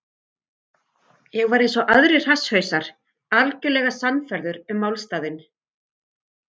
Ég var einsog aðrir hasshausar, algjörlega sannfærður um málstaðinn.